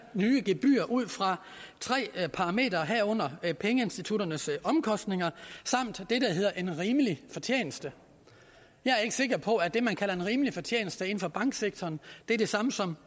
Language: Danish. nye gebyr ud fra tre parametre herunder pengeinstitutternes omkostninger samt det der hedder en rimelig fortjeneste jeg er ikke sikker på at det man kalder en rimelig fortjeneste inden for banksektoren er det samme som